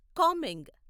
Kameng